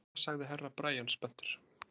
Nú hvað sagði Herra Brian spenntur.